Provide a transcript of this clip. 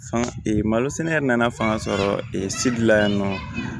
Fanga malo sɛnɛ yɛrɛ nana fanga sɔrɔ sidila yannɔ